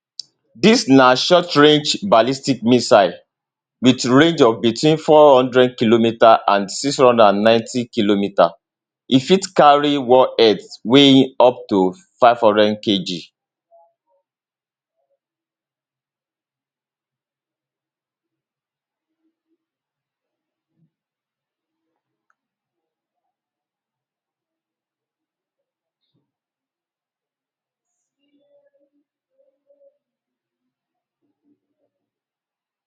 dis na shortrange ballistic missile wit range of between 400km and 690km e fit carry warheads weighing up to 500kg